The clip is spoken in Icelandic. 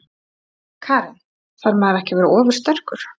Karen: Þarf maður ekki að vera ofursterkur?